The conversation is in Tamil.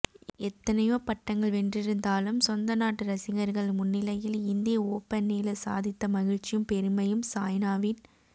எத்தனையோ பட்டங்கள் வென்றிருந்தாலும் சொந்த நாட்டு ரசிகர்கள் முன்னிலையில் இந்திய ஓபனில் சாதித்த மகிழ்ச்சியும் பெருமையும் சாய்னாவின்